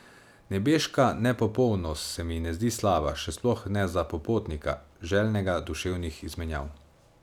Nebeška nepopolnost se mi ne zdi slaba, še sploh ne za popotnika, željnega duševnih izmenjav.